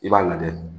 I b'a lajɛ